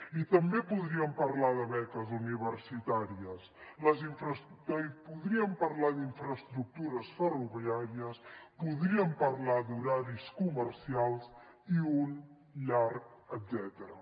i també podríem parlar de beques universitàries i podríem parlar d’infraestructures ferroviàries podríem parlar d’horaris comercials i un llarg etcètera